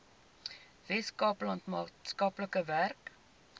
weskaapland maatskaplike werk